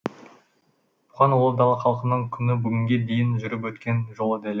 бұған ұлы дала халқының күні бүгінге дейін жүріп өткен жолы дәлел